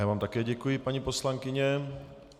Já vám také děkuji, paní poslankyně.